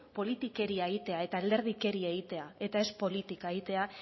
politikeria egitea eta alderdikeria egitea eta ez politika egitea